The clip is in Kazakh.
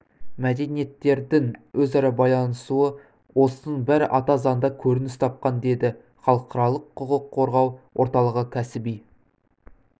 мәдениеттердің өзара байланысуы осының бәрі ата заңда көрініс тапқан деді халықаралық құқық қорғау орталығы кәсіби